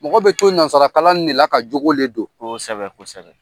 Mɔgɔ bɛ to nanzara kalan nin de la ka jogo de don, kosɛbɛ kosɛbɛ.